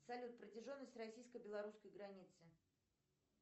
салют протяженность российско белорусской границы